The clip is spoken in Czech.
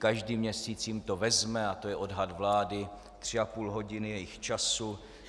Každý měsíc jim to vezme, a to je odhad vlády, tři a půl hodiny jejich času.